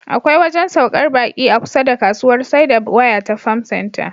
Akwai wajen saukar baƙi a kusa da kasuwar saida waya ta Farm Center.